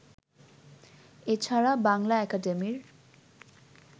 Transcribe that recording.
এছাড়া বাংলা একাডেমির